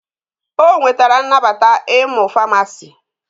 O nwetara nnabata ịmụ Famasi